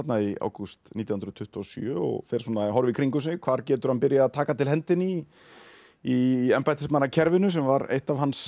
í ágúst nítján hundruð tuttugu og sjö og fer að horfa í kringum sig hvar getur hann byrjað að taka til hendinni í embættismannakerfinu sem var eitt af hans